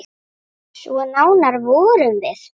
Svo nánar vorum við.